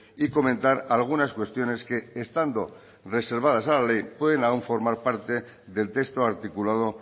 y comentar algunas cuestiones que estando reservadas a la ley puede aún formar parte del texto articulado